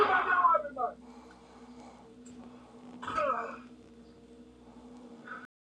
ni